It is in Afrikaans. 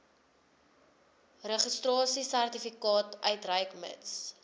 registrasiesertifikaat uitreik mits